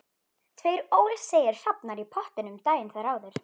Tveir ólseigir hrafnar í pottinum daginn þar áður.